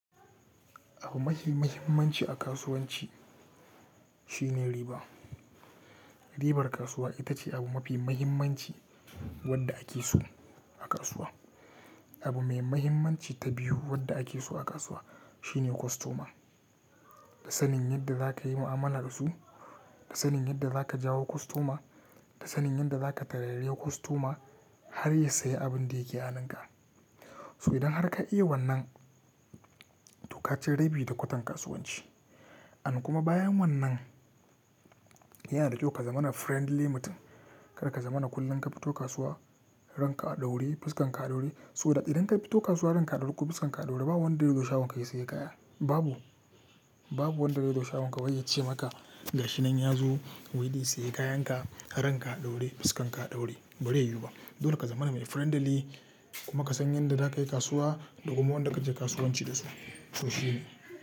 Abu mafi muhimmanci a kasuwanci shine riba. Ribar kasuwa ita ce abu mafi muhimmanci wanda ake so a kasuwa. Abu mai muhimmanci ta biyu wanda ake so a kasuwa shine kostoma. Da sanin yadda za ka yi mu'amala dasu, da sanin yadda za ka jawo kostoma, da sanin yadda za ka tarairayi kostoma har ya sayi abin da yake aninka. So idan har ka iya wannan to ka ci rabi da kwatan kasuwanci. Amma kuma bayan wannan yana da kyau ka zama na friendly mutum. Kada ka zama na kullum ka fito kasuwa, ranka a ɗaure, fuskan ka ɗaure. So da idan ka fito kasuwa ranka a ɗaure ko, fuskan ka ɗaure babu wanda zai zo shagon ka ya sayi kaya. Babu, babu wanda zai zo shagon ka wai ya ce maka ga shi nan ya zo wai zai sayi kayan ka har ranka a ɗaure, fuskan ka ɗaure. Bari ya yiwu ba. Dole ka zama na mai friendly kuma ka san yadda za ka yi kasuwa da kuma wanda kake kasuwanci da su. To shi ne.